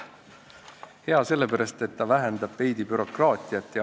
Hea sellepärast, et ta vähendab veidi bürokraatiat.